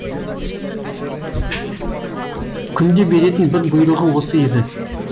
күнде беретін бір бұйрығы осы еді